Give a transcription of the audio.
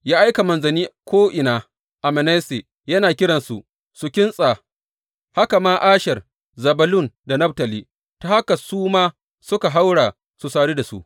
Ya aika manzanni ko’ina a Manasse, yana kiransu su kintsa, haka ma Asher, Zebulun da Naftali, ta haka su ma suka haura su sadu da su.